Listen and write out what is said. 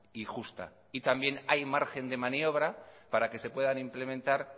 y justa y también hay margen de maniobra para que se puedan implementar